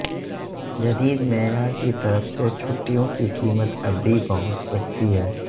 جدید معیار کی طرف سے چھٹیوں کی قیمت اب بھی بہت سستی ہے